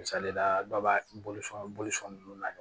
Misali la dɔ b'a bolo fɛn ninnu na